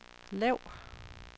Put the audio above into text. lav